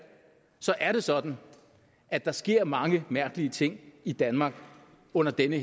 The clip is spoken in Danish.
er det sådan at der sker mange mærkelige ting i danmark under denne